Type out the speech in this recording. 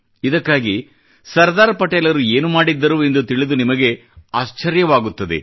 ಇದಕ್ಕಾಗಿ ಸರ್ದಾರ್ ಪಟೇಲರು ಏನು ಮಾಡಿದ್ದರು ಎಂದು ತಿಳಿದು ನಿಮಗೆ ಆಶ್ಚರ್ಯ ವಾಗುತ್ತದೆ